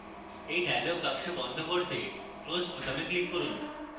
এই dialog box বন্ধ করতে close বোতামে click করুন